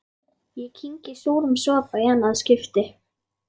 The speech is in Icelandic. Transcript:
Ég kyngi súrum sopa í annað skipti.